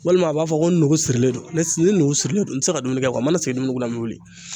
Walima a b'a fɔ ko n nugu sirilen do, ne s ni nugu sirilen do n ti se ka dumuni kɛ , mana sigi dumuni kunna n be wuli.